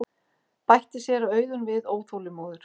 bætti séra Auðunn við óþolinmóður.